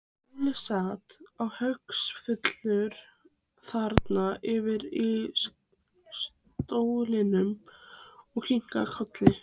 Óli sat haugfullur þarna yfir í stólnum og kinkaði kolli.